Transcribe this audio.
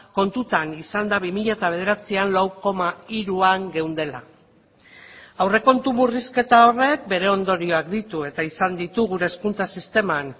kontutan izanda bi mila bederatzian lau koma hiruan geundela aurrekontu murrizketa horrek bere ondorioak ditu eta izan ditu gure hezkuntza sisteman